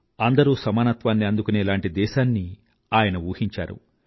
అందరూ సమానత్వాన్ని అందుకునేలాంటి దేశాన్ని ఆయన ఊహించారు